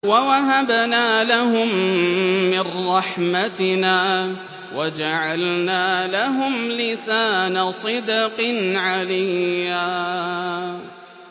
وَوَهَبْنَا لَهُم مِّن رَّحْمَتِنَا وَجَعَلْنَا لَهُمْ لِسَانَ صِدْقٍ عَلِيًّا